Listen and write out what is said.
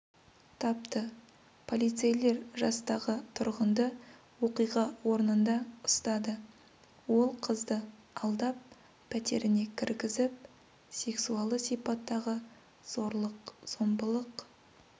тапты полицейлер жастағы тұрғынды оқиға орнында ұстады ол қызды алдап пәтеріне кіргізіп сексуалды сипаттағы зорлық-зомбылық